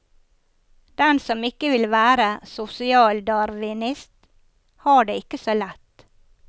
Den som ikke vil være sosialdarwinist, har det ikke så lett.